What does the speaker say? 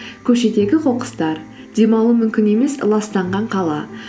көшедегі қоқыстар дем алу мүмкін емес ластанған қала